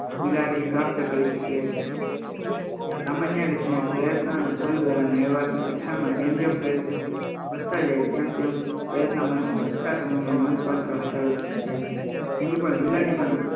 બિલાડી પ્રાપ્ત કરી શકે હતી સામાન્ય રીતે પ્રયત્નો અને ફુલ દ્વારા મેળવ્યા હતા શિક્ષણમાં જેમ જેમ પ્રયત્નો વધતા જાય તેમ તેમ પ્રયત્ન માટે લાગતા સમયમાં નોંધપાત્ર ઘટાડો થતો જાય છે